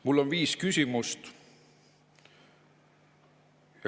Mul on viis küsimust.